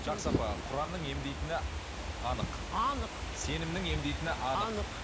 жақсы апа құранның емдейтіні анық анық сенімнің емдейтіні анық